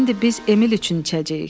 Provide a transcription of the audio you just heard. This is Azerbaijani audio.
İndi biz Emil üçün içəcəyik.